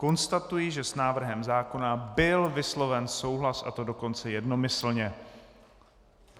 Konstatuji, že s návrhem zákona byl vysloven souhlas, a to dokonce jednomyslně.